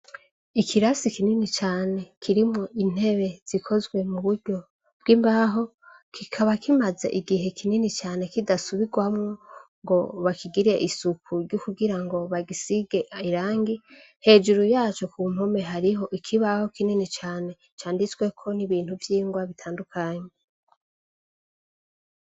Ikirasi kinini cane, kirimwo intebe zikozwe mu buryo bw'imbaho kikaba kimaze igihe kinini cyane kidasubirwamo ngo bakigire isuku ry'ukugira ngo bagisige irangi, hejuru yaco ku mpome hariho ikibaho kinini cane canditsweko n'ibintu vyingwa bitandukanye.